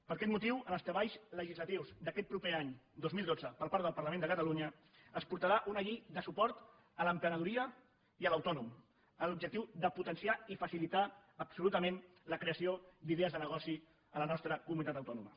per aquest motiu en els treballs legislatius d’aquest proper any dos mil dotze per part del parlament de catalunya es portarà una llei de suport a l’emprenedoria i a l’autònom amb l’objectiu de potenciar i facilitar absolutament la creació d’idees de negoci a la nostra comunitat autònoma